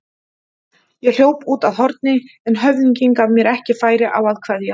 Ég hljóp út að horni en höfðinginn gaf mér ekki færi á að kveðja.